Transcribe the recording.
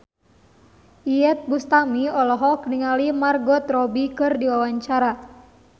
Iyeth Bustami olohok ningali Margot Robbie keur diwawancara